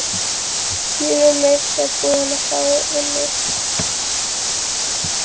Ég er meira að segja búin að fá vinnu.